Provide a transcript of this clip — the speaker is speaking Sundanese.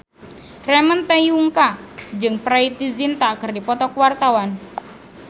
Ramon T. Yungka jeung Preity Zinta keur dipoto ku wartawan